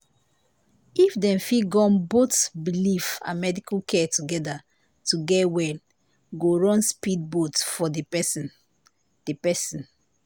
if dem fit gum both belief and medical care together to get well go run speed boat for the persin. the persin.